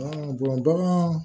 bagan